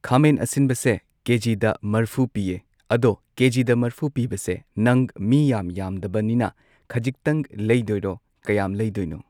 ꯈꯥꯃꯦꯟ ꯑꯁꯤꯟꯕꯁꯦ ꯀꯦꯖꯤꯗ ꯃꯔꯐꯨ ꯄꯤꯌꯦ ꯑꯗꯣ ꯀꯦꯖꯤꯗ ꯃꯔꯐꯨ ꯄꯤꯕꯁꯦ ꯅꯪ ꯃꯤ ꯌꯥꯝ ꯌꯥꯝꯗꯕꯅꯤꯅ ꯈꯖꯤꯛꯇꯪ ꯂꯩꯗꯣꯏꯔꯣ ꯀꯌꯥꯝ ꯂꯩꯗꯣꯏꯅꯣ